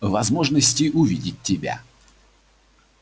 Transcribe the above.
возможности увидеть тебя